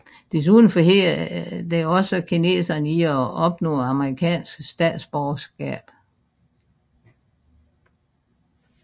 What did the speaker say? Desuden forhindrede den også kinesere i at opnå amerikansk statsborgerskab